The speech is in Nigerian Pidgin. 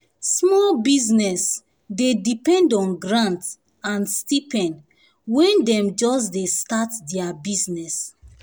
small business dey depend on grant and stipend when dem just dey start their business.